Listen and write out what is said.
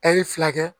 Ɛri fila kɛ